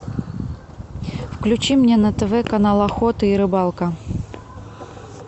включи мне на тв канал охота и рыбалка